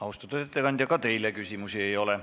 Austatud ettekandja, ka teile küsimusi ei ole.